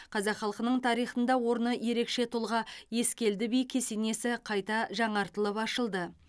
қазақ халқының тарихында орны ерекше тұлға ескелді би кесенесі қайта жаңартылып ашылды